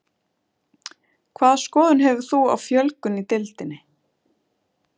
Hvaða skoðun hefur þú á fjölgun í deildinni?